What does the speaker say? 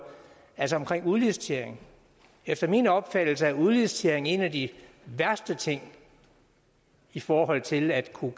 om udlicitering efter min opfattelse er udlicitering en af de værste ting i forhold til at kunne